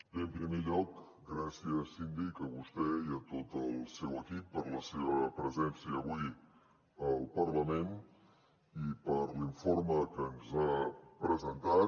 bé en primer lloc gràcies síndic a vostè i a tot el seu equip per la seva presència avui al parlament i per l’informe que ens ha presentat